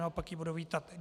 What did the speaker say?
Naopak ji budu vítat.